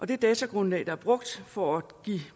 det datagrundlag der brugt for at give